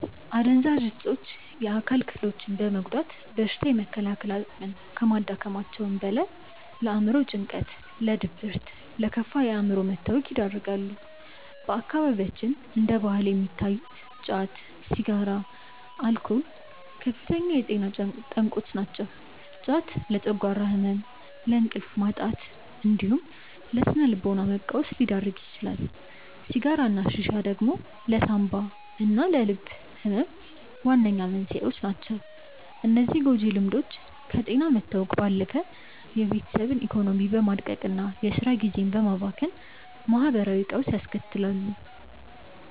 አደንዛዥ እፆች የአካል ክፍሎችን በመጉዳት በሽታ የመከላከል አቅምን ከማዳከማቸውም በላይ፣ ለአእምሮ ጭንቀት፣ ለድብርትና ለከፋ የአእምሮ መታወክ ይዳርጋሉ። በአካባቢያችን እንደ ባህል የሚታዩት ጫት፣ ሲጋራና አልኮል ከፍተኛ የጤና ጠንቆች ናቸው። ጫት ለጨጓራ ህመም፣ ለእንቅልፍ ማጣትና ለስነ-ልቦና መቃወስ ሲዳርግ፣ ሲጋራና ሺሻ ደግሞ ለሳንባና ለልብ ህመም ዋነኛ መንስኤዎች ናቸው። እነዚህ ጎጂ ልምዶች ከጤና መታወክ ባለፈ የቤተሰብን ኢኮኖሚ በማድቀቅና የስራ ጊዜን በማባከን ማህበራዊ ቀውስ ያስከትላሉ።